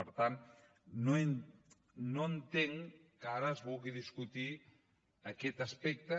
per tant no entenc que ara es vulgui discutir aquest aspecte